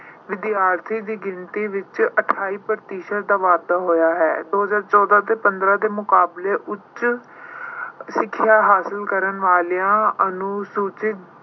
ਵਿਦਿਆਰਥੀਆਂ ਦੀ ਗਿਣਤੀ ਵਿੱਚ ਅਠਾਈ ਪ੍ਰਤੀਸ਼ਤ ਦਾ ਵਾਧਾ ਹੋਇਆ ਹੈ। ਦੋ ਹਜ਼ਾਰ ਚੌਦਾਂ ਤੇ ਪੰਦਰਾਂ ਦੇ ਮੁਕਾਬਲੇ ਉੱਚ ਸਿੱਖਿਆ ਹਾਸਲ ਕਰਨ ਵਾਲੀਆਂ ਅਨੁਸੂਚਿਤ